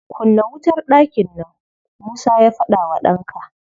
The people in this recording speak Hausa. "Kunna wutar ɗakin nan!" Musa ya faɗa wa ɗanka.